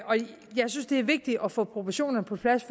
synes det er vigtigt at få proportionerne på plads